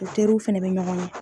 U terirw fana bɛ ɲɔgɔn ye.